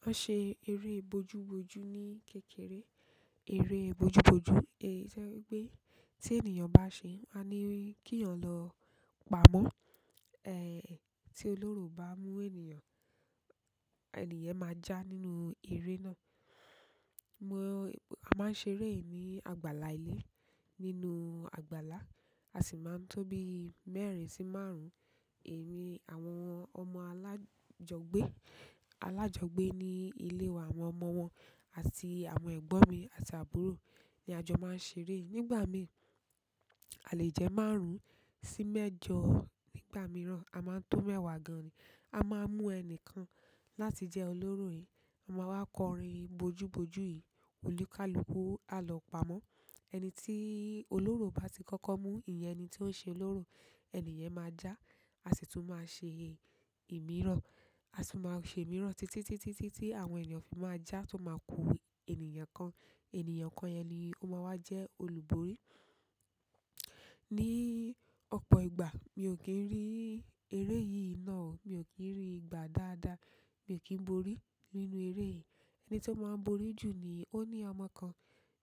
Wo n se ere bojuboju ni kékeré. Eré bojú bojú, èyí jẹ́ wípé teenìyàn bá ṣe, a nimáa ní kiyàn lọ pamọ́. Ẹ̀hn, tí olóró ba muka maa bá mú ènìyàn, ènìyẹn máa já nínú eré náà. Wo, a ma n ṣeré yìí ni àgbàlá ile. Nínú àgbàlá a si maa n to bíi mẹ́rin si manrun-un. Emi àwọn ọmọ alajogbe, alajogbe ni ile wa, àwọn ọmọ won àti àwọn egbon mi àti aburola ni a jo maa n ṣeré yìí, nígbà mii a le je maru-un mejoo. Nígbà mìíràn, a máa ń tó mẹ́wàá gan-an ni. A máa ń mú ẹni kan láti jẹ́ olóró yìí. A máa wá kọrin bojú bojú yìí, olúkàlúkù á lọ pamọ́. Ẹni tí olóró bá ti kọ́kọ́ mú, ìyẹn ẹni tí ó ń ṣolóró, ènìyẹn máa já. A sì tún máa ṣe ìmírọ̀. A sì máa ṣemíran títí, títí, títí tí àwọn ènìyàn fi máa já tó máa ku ènìyàn kan. Ènìyàn kan yẹn ni ó máa wá jẹ́ olùborí. Ni òpo ìgbà mi o kí ń rí eré yìí náà o. Mi ò kí ń rí ìgbà dáadáa. Mi ò kí ń borí nínú eré yìí. Ẹni tó máa ń borí jù ni ó ní ọmọ kan